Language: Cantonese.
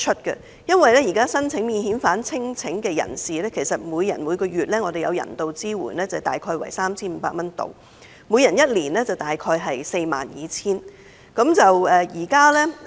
現時申請免遣返聲請的人士，每人每月可獲人道支援約 3,500 元 ，1 年即約 42,000 元。